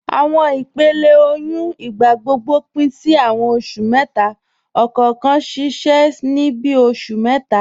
Awọn ìpèlẹ̀ tó ọyún ní ìgbàgbọ́gbọ̀ pin sí awọn oṣù mẹ́ta, ọkọọ̀kan ṣiṣẹ ni bíi oṣù mẹ́ta.